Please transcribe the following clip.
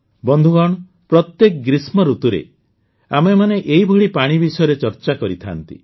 ବନ୍ଧୁଗଣ ପ୍ରତ୍ୟେକ ଗ୍ରୀଷ୍ମଋତୁରେ ଆମେମାନେ ଏହିଭଳି ପାଣି ବିଷୟରେ ଚର୍ଚ୍ଚା କରିଥାନ୍ତି